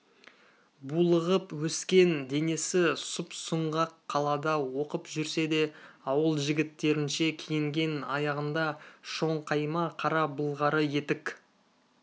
булығып өскен денесі сұп-сұңғақ қалада оқып жүрсе де ауыл жігіттерінше киінген аяғында шоңқайма қара былғары етік